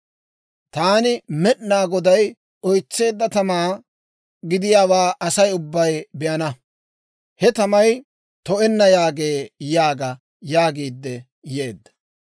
Taani Med'inaa Goday oytseedda tamaa gidiyaawaa Asay ubbay be'ana. He tamay to'enna yaagee› yaaga» yaagiidde yeedda.